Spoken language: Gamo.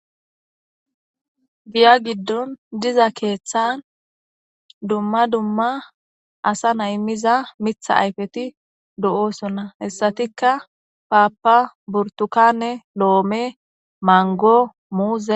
Giya giddon diza keeththan dumma dumma asa na7i miza mitha ayfeti do7oosonna. Hessatikka paappa,burttukaane,loome,mango, muuze.